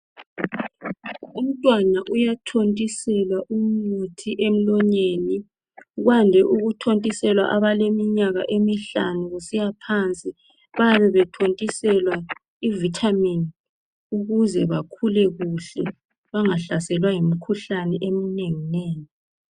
Umntwana uyathotiselwa umuthi emlonyeni kwande ukuthotiselwa abaleminyaka emihlanu kusiyaphansi babethotiselwa ivitamin ukuze bakhule kuhle bangahlaselwa yimikhuhlane eminenginengi.